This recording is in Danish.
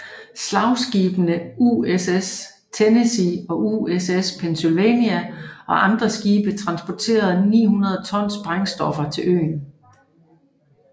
Slagskibene USS Tennessee og USS Pennsylvania og andre skibe transportede 900 ton sprængstoffer til øen